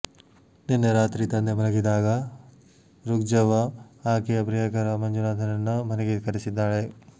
ನಿನ್ನೆ ರಾತ್ರಿ ತಂದೆ ಮಲಗಿದ್ದಾಗ ರುಕ್ಜವ್ವ ಆಕೆಯ ಪ್ರಿಯಕರ ಮಂಜುನಾಥನನ್ನ ಮನೆಗೆ ಕರೆಸಿದ್ದಾಳೆ